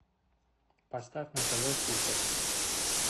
поставь на тв супер